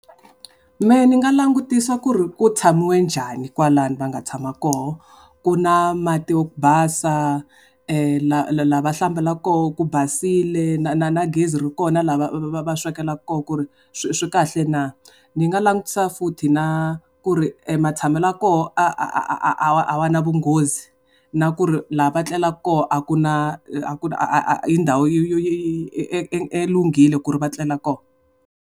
Mehe ni nga langutisa ku ri ku tshamiwe njhani kwalano va nga tshama koho. Ku na mati ya ku basa, la va hlambelaka koho ku basile, na gezi ri koho na la va swekelaka koho ku ri swi kahle na? Ni nga langutisa futhi na ku ti matshamelo ya koho a wa na munghozi. Na ku ri la va tlelaka koho a ku a kona i ndhawu i lunghile ku ri va tlela koho.